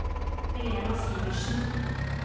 Helena Sivertsen